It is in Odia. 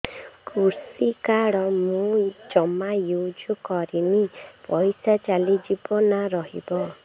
କୃଷି କାର୍ଡ ମୁଁ ଜମା ୟୁଜ଼ କରିନି ପଇସା ଚାଲିଯିବ ନା ରହିବ